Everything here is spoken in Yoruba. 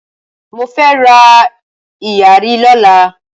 mọ fẹ rá iyari ló là.